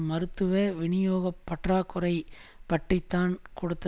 மருத்துவ விநியோக பற்றாக்குறை பற்றி தான் கொடுத்த